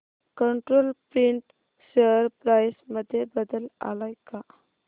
control print share price मध्ये बदल आलाय का